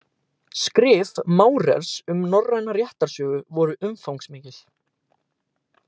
Skrif Maurers um norræna réttarsögu voru umfangsmikil.